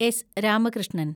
S. Ramakrishnan